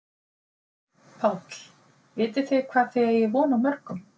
Páll: Vitið þið hvað þið eigið von á mörgum?